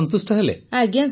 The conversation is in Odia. ପୁନମ ନୌଟିଆଲ ଆଜ୍ଞା